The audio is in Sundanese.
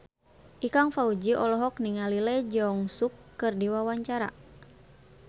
Ikang Fawzi olohok ningali Lee Jeong Suk keur diwawancara